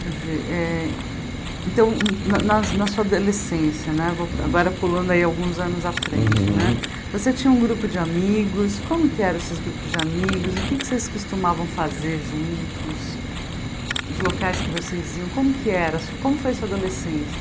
Quer dizer, eh então, na na sua adolescência, agora pulando aí alguns anos à frente né, Uhum você tinha um grupo de amigos, como que eram esses grupos de amigos, o que vocês costumavam fazer juntos, os locais que vocês iam, como que era, como foi a sua adolescência?